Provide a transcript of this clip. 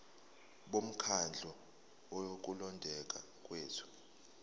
bomkhandlu wokulondeka kwethu